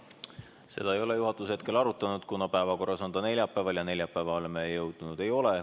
Seda ei ole juhatus hetkel arutanud, kuna päevakorras on ta neljapäeval ja neljapäevani me jõudnud ei ole.